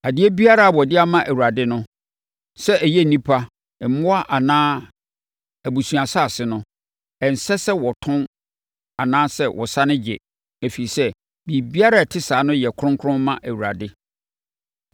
“ ‘Adeɛ biara a wɔde ama Awurade no, sɛ ɛyɛ nnipa, mmoa anaa abusuasase no, ɛnsɛ sɛ wɔtɔn anaa wɔsane gye, ɛfiri sɛ, biribiara a ɛte saa no yɛ kronkron ma Awurade.